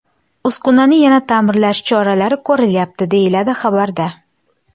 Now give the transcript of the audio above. Uskunani yana ta’mirlash choralari ko‘rilyapti”, deyiladi xabarda.